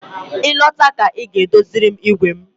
Ị lọta ka Ị gaa doziere m igwe m